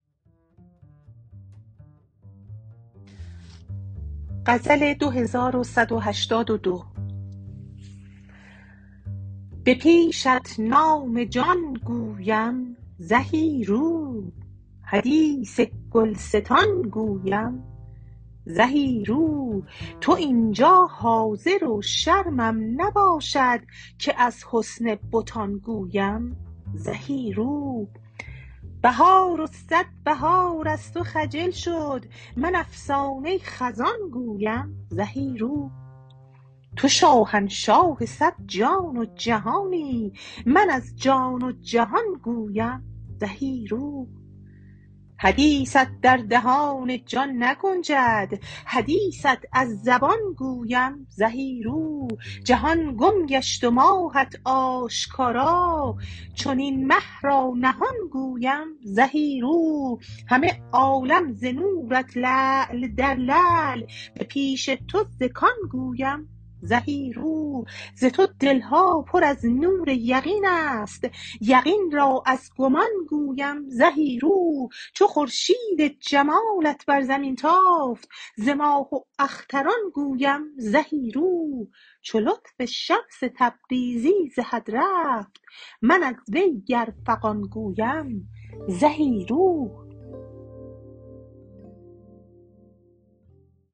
به پیشت نام جان گویم زهی رو حدیث گلستان گویم زهی رو تو این جا حاضر و شرمم نباشد که از حسن بتان گویم زهی رو بهار و صد بهار از تو خجل شد من افسانه خزان گویم زهی رو تو شاهنشاه صد جان و جهانی من از جان و جهان گویم زهی رو حدیثت در دهان جان نگنجد حدیثت از زبان گویم زهی رو جهان گم گشت و ماهت آشکارا چنین مه را نهان گویم زهی رو همه عالم ز نورت لعل در لعل به پیش تو ز کان گویم زهی رو ز تو دل ها پر از نور یقین است یقین را از گمان گویم زهی رو چو خورشید جمالت بر زمین تافت ز ماه و اختران گویم زهی رو چو لطف شمس تبریزی ز حد رفت من از وی گر فغان گویم زهی رو